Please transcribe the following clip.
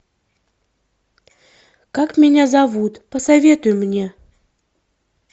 как меня зовут посоветуй мне